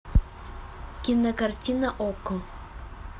кинокартина окко